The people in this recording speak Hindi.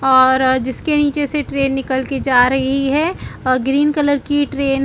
और अ जिसके नीचे से ट्रैन निकल के जा रही है अ ग्रीन कलर की ट्रेन --